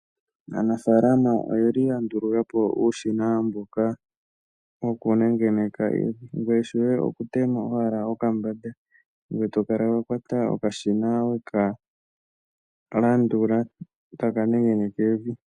Aanafaalama oyeli ya ndulukapo uushina mboka wokunengeneka evi, ngoye shoye oku tema owala okabande ngoye tokala wakwata okashina weka landula ko taka nengeneke evi.